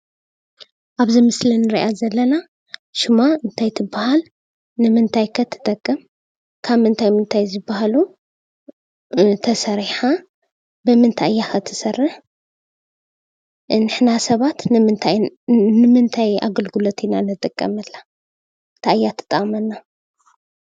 ኣብዚ ምስሊ ንሪኣ ዘለና ሽማ ታይ ትበሃል? ንምንታይ ከ ትጠቅም? ካብ ምንታይ ምንታይ ዝበሃሉ ተሰሪሓ? ብምንታይ እያ ኸ ትሰርሕ? ንሕና ሰባት ንምንታይ ኣገልግሎት ኢና ንጥቀመላ? ታይ እያ ትጠቕመና?